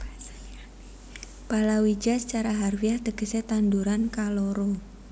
Palawija sacara harfiah tegesé tanduran kaloro